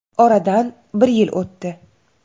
Oradan bir yil o‘tdi.